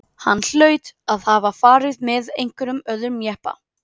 Hann hlaut að hafa farið með einhverjum öðrum jeppa.